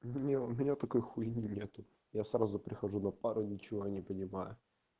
нет у меня такой хуйни нету я сразу прихожу на пару ничего не понимаю